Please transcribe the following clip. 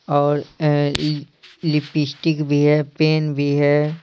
और लिपिस्टिक भी है पेन भी है।